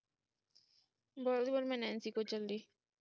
ਬੋਲਦੀ ਮੈਂ ਨੈਨਸੀ ਕੋਲ ਚੱਲੀ